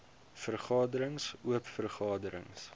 vergaderings oop vergaderings